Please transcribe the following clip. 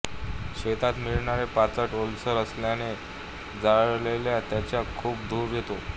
शेतात मिळणारे पाचट ओलसर असल्याने जाळल्यावर त्याचा खूप धूर होतो